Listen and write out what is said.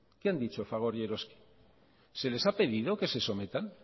qué han dicho fagor y eroski se les ha pedido que se sometan